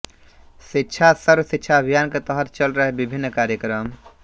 शिक्षा सर्व शिक्षा अभियान के तहत चल रहे विभिन्न कार्यक्रम